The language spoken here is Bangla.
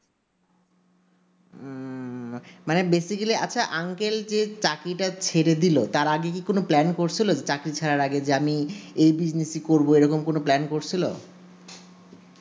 মানে বেসিকেলি আচ্ছা uncle যে চাকরিটা ছেড়ে ডেল অত্র আগে কি কোনো plan করছিলো চাকরি ছাড়ার আগে যে আমি এই bussenies এ করবো এইরকম plan করছিলো